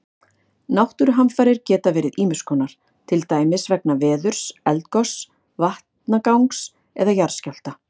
Náttúruhamfarir geta verið ýmis konar, til dæmis vegna veðurs, eldgoss, vatnagangs eða jarðskjálfta.